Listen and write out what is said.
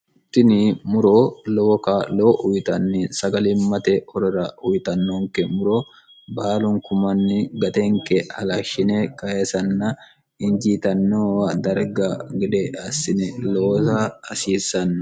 tini muro lowo kaa'lo uyitanni sagalimmate horora uyitannoonke muro baalun kumnni gatenke halashshine kayisanna injiitanno darga gede assine loosa hasiissanno